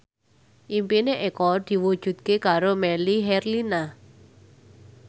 impine Eko diwujudke karo Melly Herlina